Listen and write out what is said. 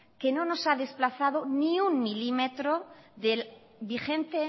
que no nos ha desplazado ni un milímetro del vigente